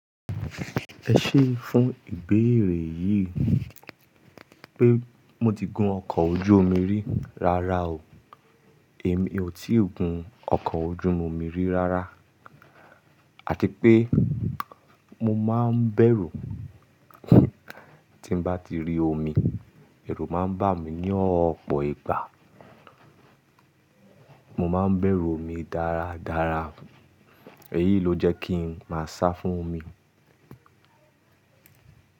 Ẹ ṣé fún ìbéèrè yìí pé mo ti gun ọkọ̀ ojú omi rí rara o. Èmi ò tí ì gun ọkọ̀ ojú omi rí rara àti pé mo máa ń bẹ̀rù tí n bá ti rí omi, ẹ̀rù máa ń bà mí ní ọ̀pọ̀ ìgbà. Mo máa ń bẹ̀rù omi dáradára. Èyí ló jẹ́ kí n máa sá fún omi.